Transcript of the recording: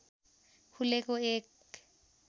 खुलेको एक